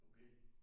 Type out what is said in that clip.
Okay